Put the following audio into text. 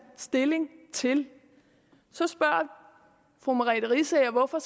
stilling til så spørger fru merete riisager hvorfor